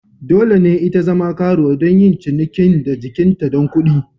Dole ne ita zama karuwa don yin cinikin da jikinta don kuɗi.